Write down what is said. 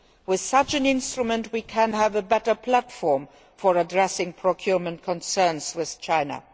With such an instrument we can have a better platform for addressing procurement concerns with China.